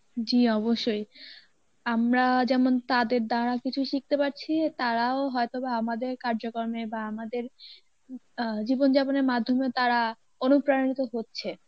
জী অবশ্যই আমরা যেমন তাদের দ্বারা কিছু শিখতে পারছি তারাও হয়তোবা আমাদের কার্যকর্মে বা আমাদের উম আহ জীবন যাপনের মাধ্যমেও তারা অনুপ্রাণিত হচ্ছে